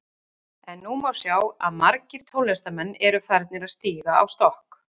En nú má sjá að margir tónlistarmenn eru að farnir að stíga á stokk.